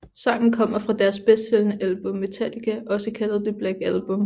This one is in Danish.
Sangen kommer fra deres bedstsælgende album Metallica også kaldet The Black Album